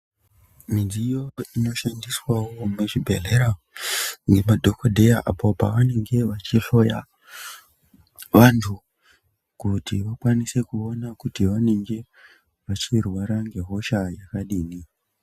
Midziyo inoshandiswawo muzvibhedhlera ngemadhokodheya, apo pavanenge achihloya vantu, kuti vakwanise kuona kuti vanenge, vachirwara ngehosha yakadini.